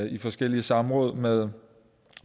i forskellige samråd med